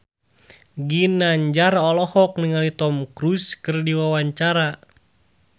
Ginanjar olohok ningali Tom Cruise keur diwawancara